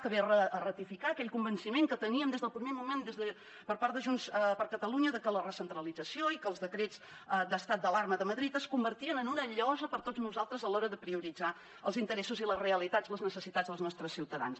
que ve a ratificar aquell convenciment que teníem des del primer moment per part de junts per catalunya de que la recentralització i que els decrets d’estat d’alarma de madrid es convertien en una llosa per a tots nosaltres a l’hora de prioritzar els interessos i les realitats les necessitats dels nostres ciutadans